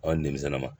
Ɔ ni denmisɛn ma